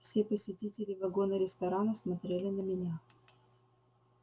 все посетители вагона-ресторана смотрели на меня